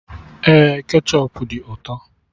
Ee, kechọp dị ụtọ